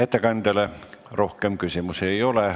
Ettekandjale rohkem küsimusi ei ole.